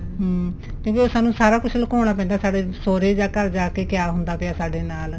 ਹਮ ਕਿਉਂਕਿ ਉਹ ਸਾਨੂੰ ਸਾਰਾ ਕੁੱਝ ਲਕੋਣਾ ਪੈਂਦਾ ਸਾਡੇ ਸੋਹਰੇ ਜਾਂ ਘਰ ਜਾ ਕੇ ਕਿਆ ਹੁੰਦਾ ਪਿਆ ਸਾਡੇ ਨਾਲ